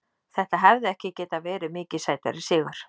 Þetta hefði ekki getað verið mikið sætari sigur.